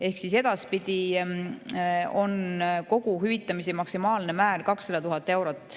Ehk edaspidi on kogu hüvitamise maksimaalne määr 200 000 eurot.